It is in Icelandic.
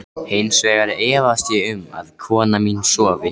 Hins vegar efast ég um að kona mín sofi.